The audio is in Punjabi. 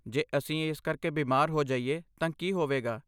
ਜੇ ਅਸੀਂ ਇਸ ਕਰਕੇ ਬਿਮਾਰ ਹੋ ਜਾਈਏ ਤਾਂ ਕੀ ਹੋਵੇਗਾ ?